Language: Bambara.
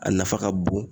A nafa ka bon